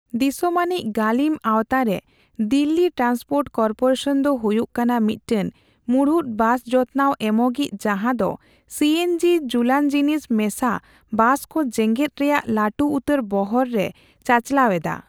ᱫᱤᱥᱚᱢᱟᱱᱤᱡᱽ ᱜᱟᱹᱞᱤᱢ ᱟᱣᱛᱟᱨᱮ ᱫᱤᱞᱞᱤ ᱴᱨᱟᱱᱥᱯᱳᱴ ᱠᱚᱨᱯᱳᱨᱮᱥᱚᱢ ᱫᱚ ᱦᱩᱭᱩᱜ ᱠᱟᱱᱟ ᱢᱤᱫᱴᱮᱱ ᱢᱩᱲᱩᱫ ᱵᱟᱥ ᱡᱚᱛᱱᱟᱣ ᱮᱢᱚᱜᱤᱡ ᱡᱟᱦᱟᱸ ᱫᱚ ᱥᱤ ᱮᱱ ᱡᱤᱼ ᱡᱩᱞᱟᱱᱡᱤᱱᱤᱥ ᱢᱮᱥᱟ ᱵᱟᱥᱠᱚ ᱡᱮᱜᱮᱫ ᱨᱮᱭᱟᱜ ᱞᱟᱹᱴᱩ ᱩᱛᱟᱹᱨ ᱵᱚᱦᱚᱨ ᱮ ᱪᱟᱪᱟᱞᱟᱣ ᱮᱫᱟ ᱾